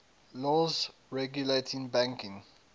laws regulating banking